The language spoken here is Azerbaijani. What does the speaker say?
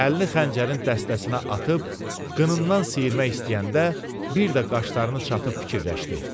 Əlini xəncərin dəstəsinə atıb qınından sıyırmaq istəyəndə bir də qaşlarını çatıb fikirləşdi.